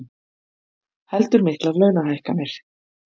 Heldur miklar launahækkanir